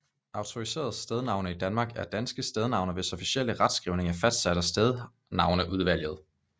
Autoriserede stednavne i Danmark er danske stednavne hvis officielle retskrivning er fastsat af Stednavneudvalget